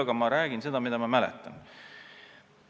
Aga ma räägin seda, mida ma mäletan.